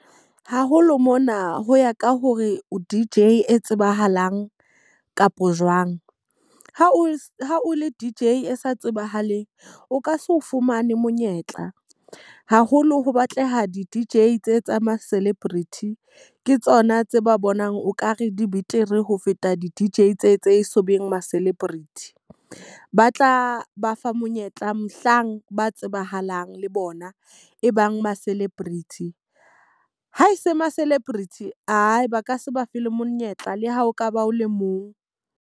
Haholo mona ho ya ka hore o D_J e tsebahalang kapo jwang. Ha o le D_J e sa tsebahaleng, o ka se o fumane monyetla. Haholo ho batleha di-D_J tse tsa ma celebrity, ke tsona tse ba bonang okare di betere ho feta di-D_J tse tse e so beng ma celebrity. Ba tla ba fa monyetla mohlang ba tsebahalang le bona ebang ma celebrity. Ha e se ma celebrity ae ba ka se ba fe le monyetla le ha o ka ba o le mong.